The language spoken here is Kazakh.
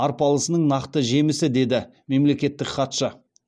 арпалысының нақты жемісі деді мемлекеттік хатшы